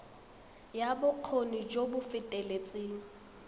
ya bokgoni jo bo feteletseng